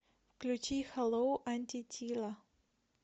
включи хэллоу антитила